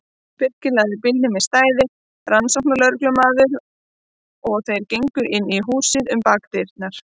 Birkir lagði bílnum í stæði rannsóknarlögreglunnar og þeir gengu inn í húsið um bakdyrnar.